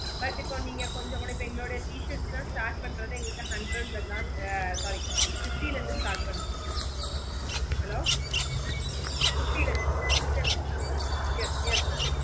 but இப்போ நீங்க கொஞ்ச கூட எங்களோட t shirts லாம் start பண்றது எங்களுக்கு hundred லதான் ஆஹ் sorry fifty ல இருந்து start பண்ணுது hello fifty ல இருந்து fifty ல இருந்து yes yes mam